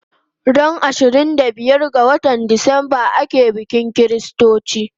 Ran ishirin da biyar ga watan Decemba ake bikin chritochi